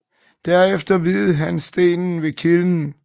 Derefter viede han stenen ved kilden